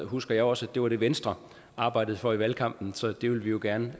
husker jeg også at det var det venstre arbejdede for i valgkampen så det vil vi jo gerne